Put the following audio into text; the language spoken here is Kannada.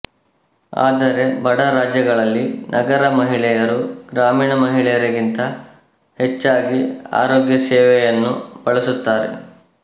ಆದರೆ ಬಡ ರಾಜ್ಯಗಳಲ್ಲಿ ನಗರ ಮಹಿಳೆಯರು ಗ್ರಾಮೀಣ ಮಹಿಳೆಯರಿಗಿಂತ ಹೆಚ್ಚಾಗಿ ಆರೋಗ್ಯ ಸೇವೆಯನ್ನು ಬಳಸುತ್ತಾರೆ